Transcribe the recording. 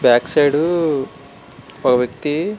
back side వక వక్తి --